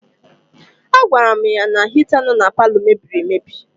A gwara m ya na hita nọ na paalọ m mebiri emebi.